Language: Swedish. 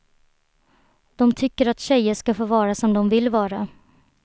De tycker att tjejer ska få vara som de vill vara.